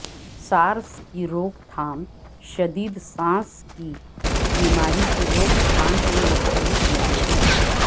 سارس کی روک تھام شدید سانس کی بیماری کی روک تھام سے مختلف نہیں ہے